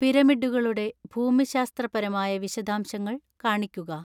പിരമിഡുകളുടെ ഭൂമിശാസ്ത്രപരമായ വിശദാംശങ്ങൾ കാണിക്കുക